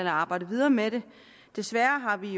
at arbejde videre med det desværre har vi